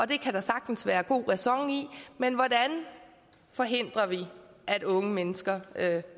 det kan der sagtens være god ræson i men hvordan forhindrer vi at unge mennesker